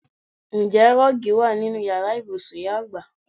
Ǹjẹ́ rọ́ọ́gì wa nínú Ìyàrá ibùsùn ìyá àgbà?